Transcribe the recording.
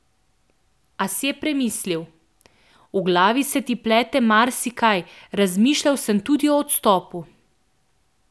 A si je premislil: "V glavi se ti plete marsikaj, razmišljal sem tudi o odstopu.